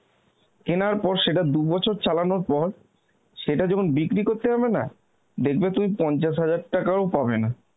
কেনার পর সেটা দু'বছর চালানোর পর, সেটা যখন বিক্রি করতে যাবে না, দেখবে তুমি পঞ্চাশ হাজার টাকাও পাবে না.